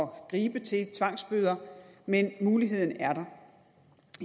gribe til tvangsbøder men muligheden er der